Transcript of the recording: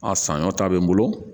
A sanɲɔ ta bɛ n bolo